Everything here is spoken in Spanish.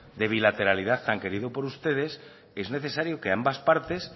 de bilateralidad tan querido por ustedes es necesario que ambas partes